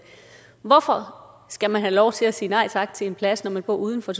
hvorfor skal man have lov til at sige nej tak til en plads når man bor uden for